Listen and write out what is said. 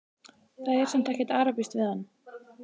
Það er samt ekkert arabískt við hann.